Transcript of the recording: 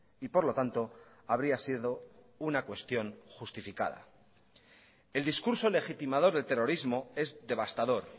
y por lo tanto habría sido una cuestión justificada el discurso legitimador del terrorismo es devastador